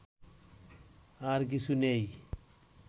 আর কিছু নেই